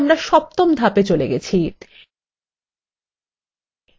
উল্লেখ্য যে আমরা সপ্তম ধাপে চলে গেছি